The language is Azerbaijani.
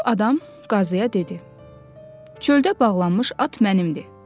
Kor adam qazıya dedi: “Çöldə bağlanmış at mənimdir.